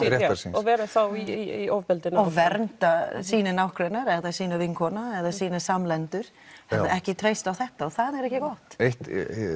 og vera í ofbeldinu og vernda sína nágranna eða sína vinkona eða sína samlendur en ekki treysta á þetta og það er ekki gott eitt